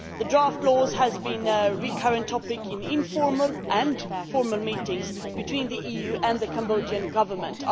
The draft laws have been a recurring topic in informal and formal meetings between the EU and the Cambodian Government.